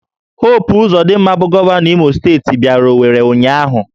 Hopu Ụzodịmma bụ Gọvanọ Imo steeti bịara Owere ụnyahụ